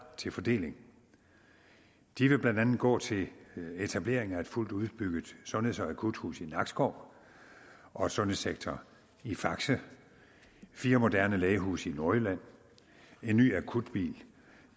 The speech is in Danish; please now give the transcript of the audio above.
til fordeling de vil blandt andet gå til etablering af et fuldt udbygget sundheds og akuthus i nakskov og et sundhedscenter i fakse fire moderne lægehuse i nordjylland en ny akutbil